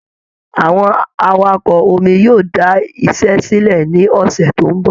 Àwọn awakọ omi yóò da iṣẹ́ sílẹ̀ ní ọ̀sẹ̀ tó ń bọ̀